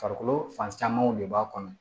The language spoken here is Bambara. Farikolo fan camanw de b'a kɔnɔ